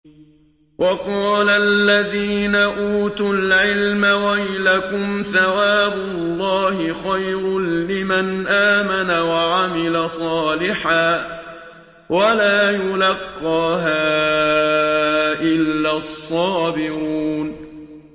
وَقَالَ الَّذِينَ أُوتُوا الْعِلْمَ وَيْلَكُمْ ثَوَابُ اللَّهِ خَيْرٌ لِّمَنْ آمَنَ وَعَمِلَ صَالِحًا وَلَا يُلَقَّاهَا إِلَّا الصَّابِرُونَ